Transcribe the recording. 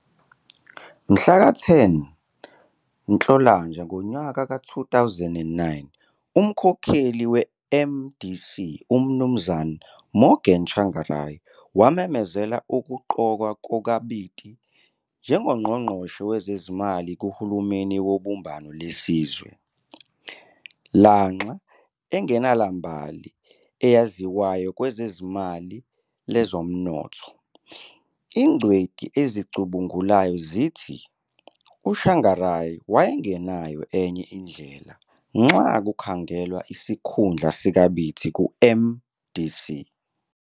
Mhlaka 10 Nhlolanja 2009, umkhokheli weMDC uMnu Morgan Tsvangirai wamemezela ukuqokwa kukaBiti njengoNgqogqoshe Wezezimali kuHulumeni Wobumbano Lwesizwe. Lanxa engelambali eyaziwayo kwezemali lezomnotho, ingcwethi ezicubungulayo zithi uTsavingarai wayengelayo enye indlela nxa kukhangelwa isikhundla sikaBiti kuMDC.